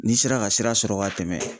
N'i sera ka sira sɔrɔ ka tɛmɛ